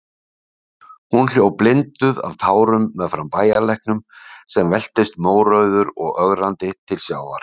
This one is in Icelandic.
Hún hljóp blinduð af tárum meðfram bæjarlæknum, sem veltist mórauður og ögrandi til sjávar.